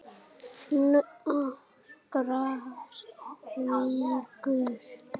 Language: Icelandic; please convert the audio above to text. Nokkrar vikur!